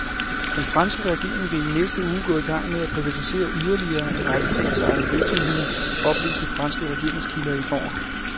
Den franske regering vil i næste uge gå i gang med at privatisere yderligere en række statsejede virksomheder, oplyste franske regeringskilder i går.